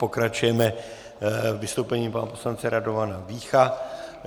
Pokračujeme vystoupením pana poslance Radovana Vícha.